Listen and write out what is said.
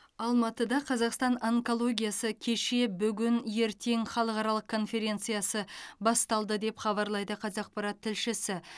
алматыда қазақстан онкологиясы кеше бүгін ертең халықаралық конференциясы басталды деп хабарлайды қазақпарат тілшісі